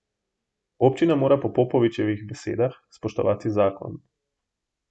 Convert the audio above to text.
Občina mora po Popovičevih besedah spoštovati zakon.